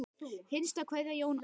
Hinsta kveðja Jón Axel.